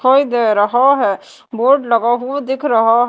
दिखाई दे रहा है बोर्ड लगा हुआ दिख रहा--